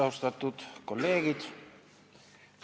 Austatud kolleegid!